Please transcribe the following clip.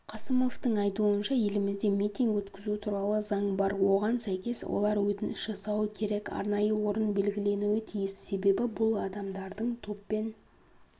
қасымовтың айтуынша елімізде митинг өткізу туралы заң бар оған сәйкес олар өтініш жасауы керек арнайы орынбелгіленуі тиіс себебі бұл адамдардың топпен